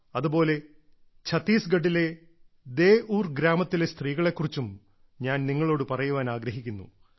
അതുപോലെ ഛത്തീസ്ഗഡിലെ ദേഉർ ഡെ ഉർ ഗ്രാമത്തിലെ സ്ത്രീകളെക്കുറിച്ചും ഞാൻ നിങ്ങളോട് പറയാൻ ആഗ്രഹിക്കുന്നു